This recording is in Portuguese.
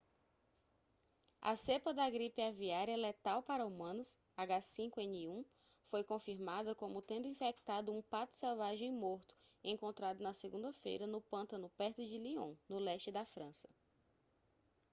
a cepa da gripe aviária letal para humanos h5n1 foi confirmada como tendo infectado um pato selvagem morto encontrado na segunda-feira no pântano perto de lyon no leste da frança